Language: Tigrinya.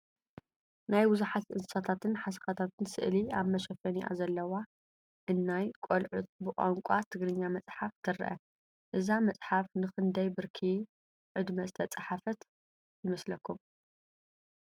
ናይ ብዙሓት እንስሳታትን ሓሰኻታትን ስእሊ ኣብ መሸፈኒኣ ዘለዋ እናይ ቆልዑት ብቋንቋ ትግርኛ መፃሓፍ ትረአ፡፡ እዛ መፅሓፍ ንክንደይ ብርኪ ዕድመ ዝተፃሕፈት ይመስለኩም?